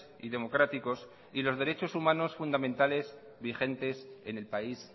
y democráticos y los derechos humanos fundamentales vigentes en el país